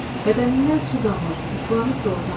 Bədənindən su damır, islanıb da o tamam.